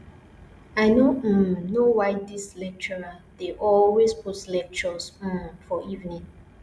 i no um know why dis lecturer dey always put lectures um for evening